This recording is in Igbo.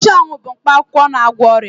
Nchụawụ bu mkpa akwụkwọ na-agwọ ọrịa.